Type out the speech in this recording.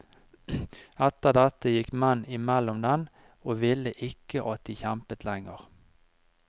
Etter dette gikk menn imellom dem og ville ikke at de kjempet lenger.